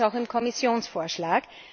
So steht es auch im Kommissionsvorschlag.